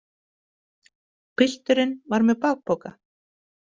Pilturinn var með bakpoka.